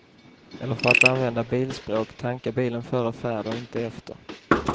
Eller för att använda bilspråk, tanka bilen före färd och inte efter.